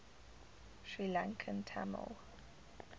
sri lankan tamil